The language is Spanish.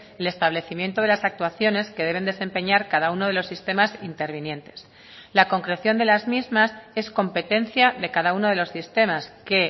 el establecimiento de las actuaciones que deben desempeñar cada uno de los sistemas intervinientes la concreción de las mismas es competencia de cada uno de los sistemas que